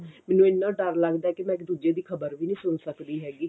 ਮੈਨੂੰ ਇੰਨਾ ਡਰ ਲੱਗਦਾ ਕਿ ਮੈਂ ਦੂਜੇ ਦੀ ਖਬਰ ਵੀ ਨੀ ਸੁਣ ਸਕਦੀ ਹੈਗੀ